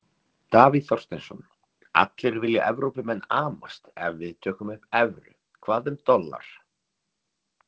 Davíð Þorsteinsson: Allir vilja, Evrópumenn amast ef við tökum upp evru, hvað um dollar?